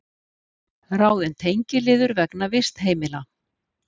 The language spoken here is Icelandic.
Ráðin tengiliður vegna vistheimila